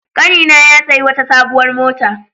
Ƙanina ya sayi wata sabuwar mota.